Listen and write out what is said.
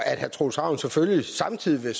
herre troels ravn samtidig vil